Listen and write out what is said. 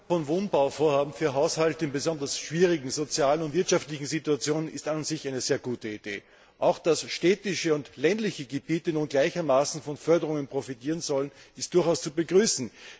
Herr Präsident! Die Förderung von Wohnbauvorhaben für Haushalte in besonders schwierigen sozialen und wirtschaftlichen Situationen ist an und für sich eine sehr gute Idee. Auch dass städtische und ländliche Gebiete nun gleichermaßen von Förderungen profitieren sollen, ist durchaus zu begrüßen.